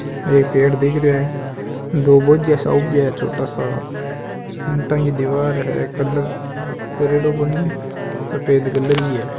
एक पेड़ दिख रयो हैं दो भोज्या सा उब्बा है छोटा सा ईंटा की दीवार है कलर करेड़ो कोनी सफेद कलर की है।